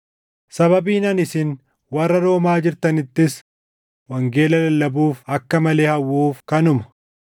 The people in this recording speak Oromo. Sababiin ani isin warra Roomaa jirtanittis wangeela lallabuuf akka malee hawwuuf kanuma.